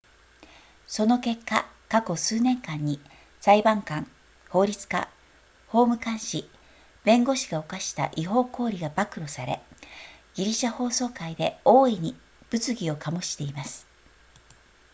その結果過去数年間に裁判官法律家法務官士弁護士が犯した違法行為が暴露されギリシャ法曹界で大いに物議を醸しています